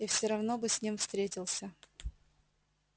и все равно бы с ним встретился